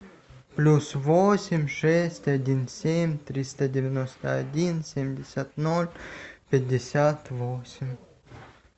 плюс восемь шесть один семь триста девяносто один семьдесят ноль пятьдесят восемь